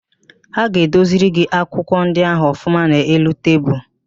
Ha ga-edoziri gị akwụkwọ ndị ahụ ọfụma n'elu tebulu.